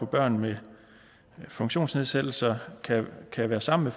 børn med funktionsnedsættelser kan være sammen